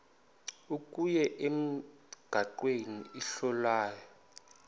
kuwe emnqamlezweni isohlwayo